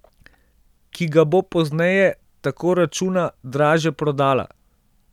Ki ga bo pozneje, tako računa, dražje prodala.